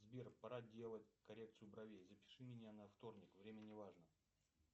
сбер пора делать коррекцию бровей запиши меня на вторник время не важно